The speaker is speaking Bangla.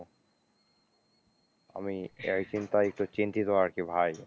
আমি এই চিন্তায় একটু চিন্তিত আছি ভাই।